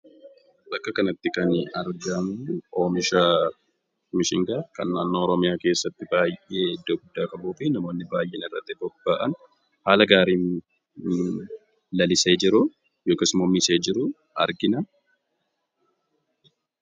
Bakka kanatti kan nuti argiinuu omishaa Bishingaa kan naannoo Oromiyaa keessatti iddoo guddaa qabufi kan namoonni baay'een irratti boba'aan haala gaariin lalisee jiru yookaan misee jiruu argina.